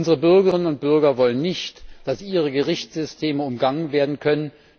Unsere Bürgerinnen und Bürger wollen nicht, dass ihre Gerichtssysteme umgangen werden können.